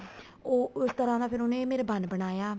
ਉਹ ਉਸ ਤਰ੍ਹਾਂ ਦਾ ਫ਼ੇਰ ਉਹਨੇ ਮੇਰੇ ਬੰਨ ਬਣਾਇਆ